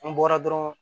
N bɔra dɔrɔn